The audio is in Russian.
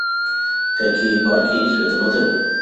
какие парки есть в этом отеле